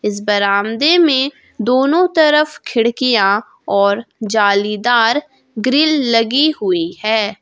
इस बरामदे में दोनों तरफ खिड़कियां और जालीदार ग्रिल लगी हुई है।